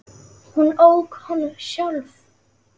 Hún ók honum sjálf.